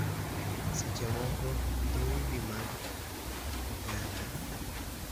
Seche moko dhoudi mag oganda